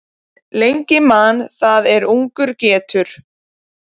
Lengi man það er ungur getur.